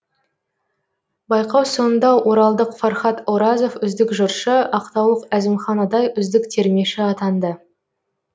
байқау соңында оралдық фархат оразов үздік жыршы ақтаулық әзімхан адай үздік термеші атанды